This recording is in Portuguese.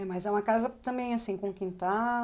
É, mas é uma casa também, assim, com quintal.